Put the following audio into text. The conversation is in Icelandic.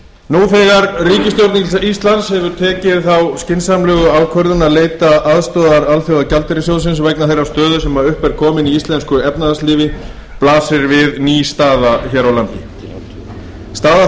nú þegar ríkisstjórn íslands hefur tekið þá skynsamlegu ákvörðun að leita aðstoðar alþjóðagjaldeyrissjóðsins vegna þeirrar stöðu sem upp er komin í íslensku efnahagslífi blasir við ný staða hér